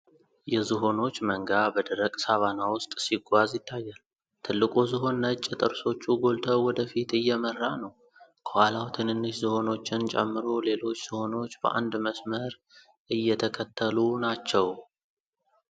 የዝሆኖች መንጋ በደረቅ ሳቫና ውስጥ ሲጓዝ ይታያል። ትልቁ ዝሆን ነጭ ጥርሶቹ ጎልተው ወደፊት እየመራ ነው። ከኋላው ትንንሽ ዝሆኖችን ጨምሮ ሌሎች ዝሆኖች በአንድ መስመር እየተከተሉ ናቸው።